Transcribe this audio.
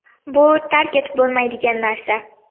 Bu tark etib bo‘lmaydigan narsa.